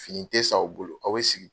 Fini tɛ san u bolo aw bɛ sigi.